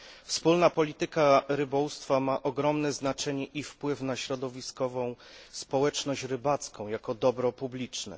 Wspólna Polityka Rybołówstwa ma ogromne znaczenie i wpływ na środowiskową społeczność rybacką jako dobro publiczne.